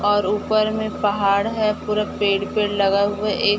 और ऊपर में पहाड़ है पूरा पेड़-पेड़ लगा हुआ है एक--